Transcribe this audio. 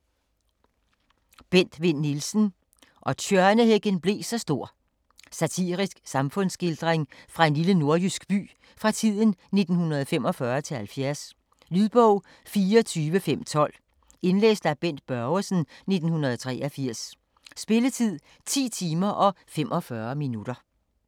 Vinn Nielsen, Bent: Og tjørnehækken blev så stor Satirisk samfundsskildring fra en lille nordjysk by fra tiden 1945-70. Lydbog 24512 Indlæst af Bent Børgesen, 1983. Spilletid: 10 timer, 45 minutter.